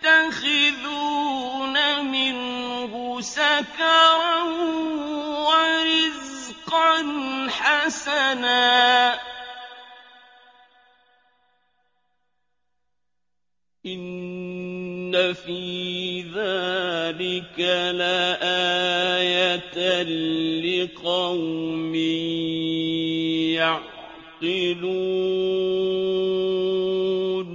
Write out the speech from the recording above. تَتَّخِذُونَ مِنْهُ سَكَرًا وَرِزْقًا حَسَنًا ۗ إِنَّ فِي ذَٰلِكَ لَآيَةً لِّقَوْمٍ يَعْقِلُونَ